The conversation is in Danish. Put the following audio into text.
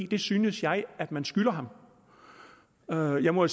det synes jeg at man skylder ham jeg må